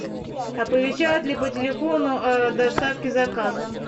оповещают ли по телефону о доставке заказа